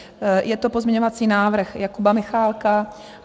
Je to pozměňovací návrh Jakuba Michálka.